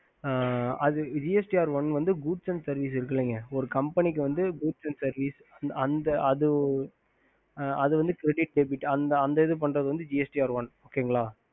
gst r one booth and services ஆமா அந்த இது பண்றது gst r one